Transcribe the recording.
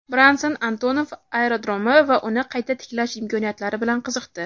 Branson Antonov aerodromi va uni qayta tiklash imkoniyatlari bilan qiziqdi.